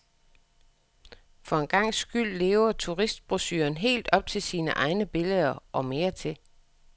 For en gangs skyld lever turistbrochuren helt op til sine egne billeder, og mere til.